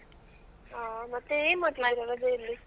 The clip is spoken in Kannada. ಆ ಮತ್ತೆ ಏನ್ ಮಾಡ್ತಿದ್ದೀರಾ ರಜೆಯಲ್ಲಿ?